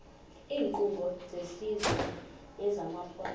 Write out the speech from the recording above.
iinkqubo zesizwe nezamaphondo